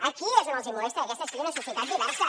aquí és on els hi molesta que aquesta sigui una societat diversa